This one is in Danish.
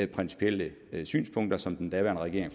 principielle synspunkter som den daværende regering